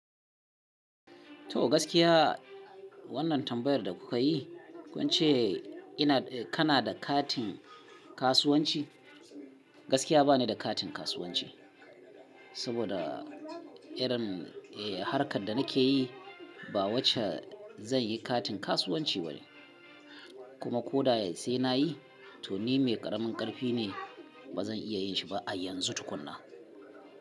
To gaskiya wannan tambayar da kuka yi, kun ce ina, eh kana da katin kasuwanci? Gaskiya ba ni da katin kasuwanci, saboda irin, eh harkar da nake yi ba wacce zan yi katin kasuwanci bane. Kuma ko da sai na yi to ni mai ƙaramin ƙarfi ne, ba zan iya yin shi ba a yanzu tukuna.